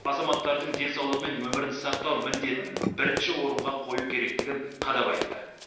азаматтардың денсаулығы мен өмірін сақтау міндетін бірінші орынға қою керектігін қадап айтты